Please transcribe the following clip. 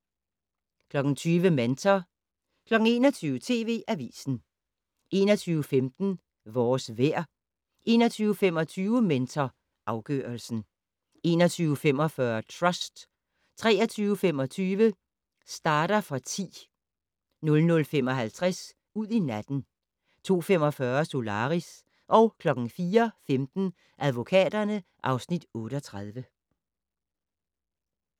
20:00: Mentor 21:00: TV Avisen 21:15: Vores vejr 21:25: Mentor afgørelsen 21:45: Trust 23:25: Starter for 10 00:55: Ud i natten 02:45: Solaris 04:15: Advokaterne (Afs. 38)